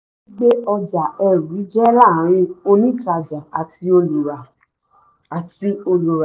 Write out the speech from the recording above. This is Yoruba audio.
gbígbé ọjà eru jẹ́ láàrín onítàjà àti olùrà. àti olùrà.